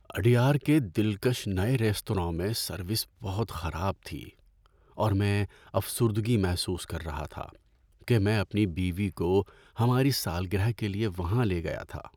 اڈیار کے دلکش نئے ریستوراں میں سروس بہت خراب تھی اور میں افسردگی محسوس کر رہا تھا کہ میں اپنی بیوی کو ہماری سالگرہ کے لیے وہاں لے گیا تھا۔